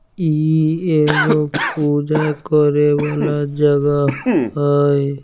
इ एगो पूजा करे वाला जगह हेय।